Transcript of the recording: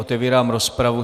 Otevírám rozpravu.